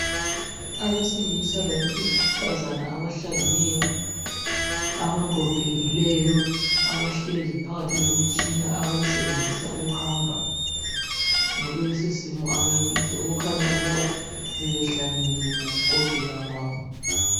Abesilisa labesifazana abahlangeneyo abagogekileyo, abahlezi phakathi kwemitshina abayisebenzisa ukuhamba. Ngakulesisimo abakiso kukhanya ukuba bebehlangene ngokugogeka kwabo.